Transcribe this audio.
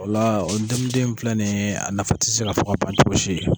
Ola la ndomiden min filɛ nin ye a nafa tɛ se ka fɔ ka ban cogosi.